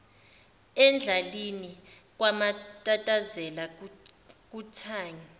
endalini kwamatatazela kuthangi